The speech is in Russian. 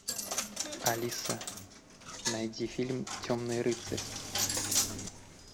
алиса найди фильм темный рыцарь